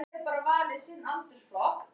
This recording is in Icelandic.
Já, það er margt skrítið í kýrhausnum!